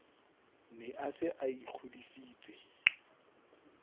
ne a se a ikgodisitse